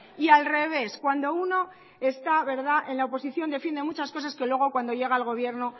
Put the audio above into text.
y al revés cuando uno está en la oposición defiende muchas cosas que luego cuando llega al gobierno